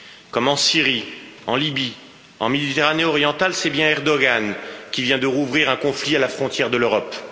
Comme en Syrie, en Libye, en Méditerranée orientale, c'est bien Erdoğan qui vient de rouvrir un conflit à la frontière de l'Europe.